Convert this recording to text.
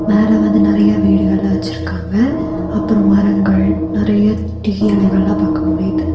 மேல வந்து நெறைய வீடுகள்லா வச்சுருக்காங்க அப்றோ மரங்கள் நெறைய டீ எலைகள்லா பாக்க முடிது.